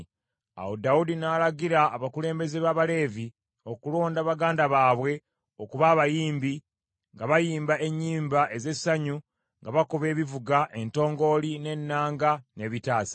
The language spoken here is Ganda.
Awo Dawudi n’alagira abakulembeze b’Abaleevi okulonda baganda baabwe okuba abayimbi, nga bayimba ennyimba ez’essanyu, nga bakuba ebivuga: entongooli, n’ennanga, n’ebitaasa.